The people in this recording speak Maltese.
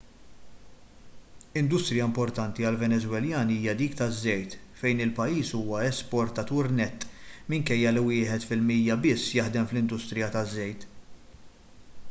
industrija importanti għal-venezwelani hija dik taż-żejt fejn il-pajjiż huwa esportatur nett minkejja li wieħed fil-mija biss jaħdem fl-industrija taż-żejt